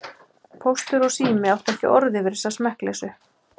Póstur og Sími áttu ekki orð yfir þessa smekkleysu.